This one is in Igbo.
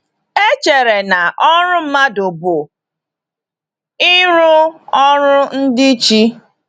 E chere na ọrụ mmadụ bụ ịrụ ọrụ ndị chi.